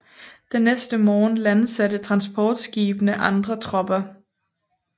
Den næste morgen landsatte transportskibene andre tropper